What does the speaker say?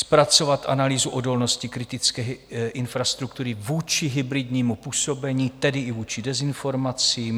Zpracovat analýzu odolnosti kritické infrastruktury vůči hybridnímu působení, tedy i vůči dezinformacím.